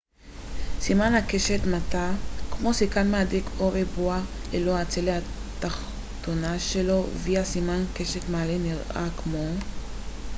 הסימן קשת מעלה נראה כמו v ו- סימן הקשת מטה כמו סיכת מהדק או ריבוע ללא הצלע התחתונה שלו